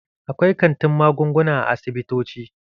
Akwai kantin magunguna a asibitoci.